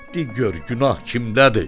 Di gör günah kimdədir?